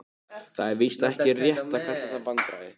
Það er víst ekki rétt að kalla það vandræði.